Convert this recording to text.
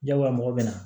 Jagoya mɔgɔw bɛ na